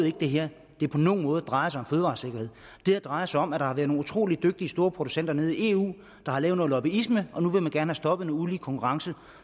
ikke det her på nogen måde drejer sig om fødevaresikkerhed det her drejer sig om at der har været nogle utrolig dygtige store producenter nede i eu der har lavet noget lobbyisme og nu vil man gerne have stoppet den ulige konkurrence